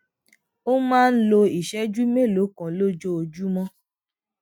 ó máa ń lo ìṣéjú mélòó kan lójoojúmó